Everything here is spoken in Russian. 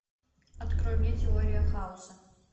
открой мне теория хаоса